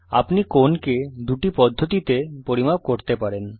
আপনি কোণকে দুটি পদ্ধতিতে পরিমাপ করতে পারেন